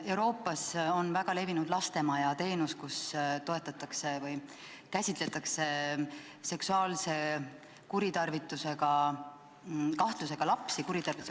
Euroopas on väga levinud lastemaja teenus, mille raames toetatakse seksuaalselt kuritarvitatud või selle kahtlusega lapsi.